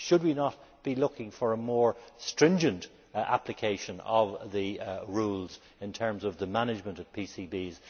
Should we not be looking for a more stringent application of the rules in terms of the management of PCBs?